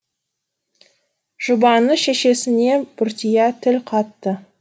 жұбаныш шешесіне бұртия тіл қатты